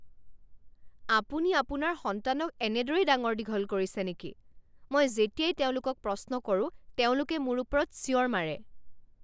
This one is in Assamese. আপুনি আপোনাৰ সন্তানক এনেদৰেই ডাঙৰ দীঘল কৰিছে নেকি? মই যেতিয়াই তেওঁলোকক প্ৰশ্ন কৰো তেওঁলোকে মোৰ ওপৰত চিঞৰ মাৰে।